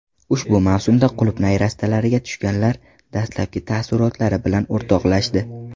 Ushbu mavsumda qulupnay rastalariga tushganlar dastlabki taassurotlari bilan o‘rtoqlashdi .